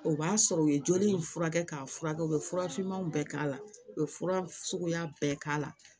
O b'a sɔrɔ u ye joli in furakɛ k'a fura kɛ u bɛ fura finman bɛɛ k'a la u bɛ fura suguya bɛɛ k'a la